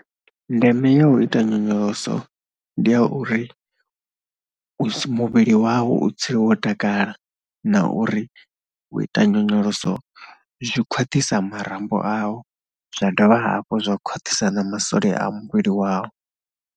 Ndeme ya u ita nyonyoloso ndi ya uri muvhili wau u dzule wo takala na uri u ita nyonyoloso zwi khwaṱhisa marambo au zwa dovha hafhu zwa khwaṱhisa na masole a muvhili wau.